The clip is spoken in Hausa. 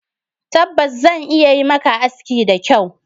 Tabbas! Zan iya yi maka aski da kyau